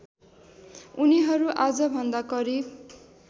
उनीहरू आजभन्दा करिब